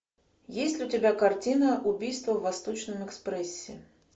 есть ли у тебя картина убийство в восточном экспрессе